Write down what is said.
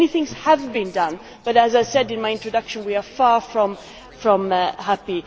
So, many things have been done but as I said in my introduction, we are far from happy.